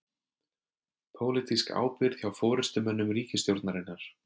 Pólitísk ábyrgð hjá forystumönnum ríkisstjórnarinnar